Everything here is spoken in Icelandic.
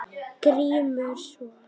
GRÍMUR: Svo?